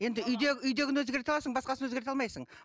енді үйдегін өзгерте аласың басқасын өзгерте алмайсың